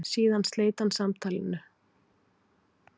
Síðan sleit hann samtalinu.